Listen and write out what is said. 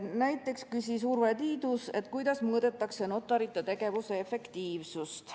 Näiteks küsis Urve Tiidus, kuidas mõõdetakse notarite tegevuse efektiivsust.